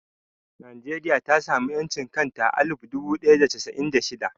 Nijeriya ta sami ƴancin kanta a alif dubu ɗaya da casa'in da shida